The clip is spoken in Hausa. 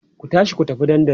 ku tashi ku tafi dandali!